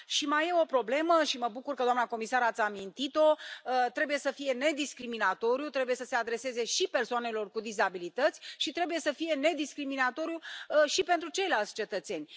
Mai e o problemă, și mă bucur, doamna comisar, că ați amintit o trebuie să fie nediscriminatoriu, trebuie să se adreseze și persoanelor cu dizabilități și trebuie să fie nediscriminatoriu și pentru ceilalți cetățeni.